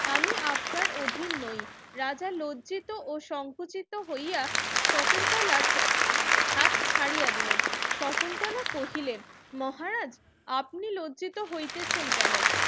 আমি আপনার অধীন নই রাজা লজ্জিত ও সংকোচিত হইয়া শকুন্তলার হাত ছাড়িয়া দিলেন শকুন্তলা কহিলেন মহারাজ আপনি লজ্জিত হইতেছেন কেন